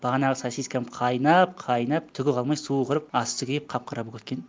бағанағы сосискам қайнап қайнап түгі қалмай суы құрып асты күйіп қап қара болып кеткен